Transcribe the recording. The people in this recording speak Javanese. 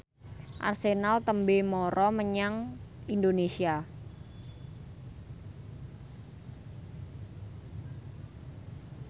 Arsenal tembe mara menyang Indonesia